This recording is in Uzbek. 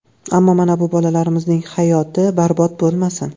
Ammo mana bu bolalarimizning hayoti barbod bo‘lmasin.